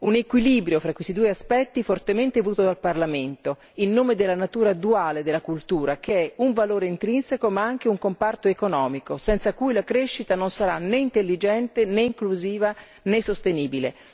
Un equilibrio fra questi due aspetti fortemente voluto dal Parlamento, in nome della natura duale della cultura, che è valore intrinseco ma anche un comparto economico, senza cui la crescita non sarà né intelligente, né inclusiva, né sostenibile.